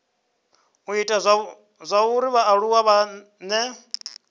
u ita zwauri vhaaluwa vhane